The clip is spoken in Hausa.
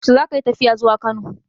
Yaushe zaka yi tafiya zuwa Kano?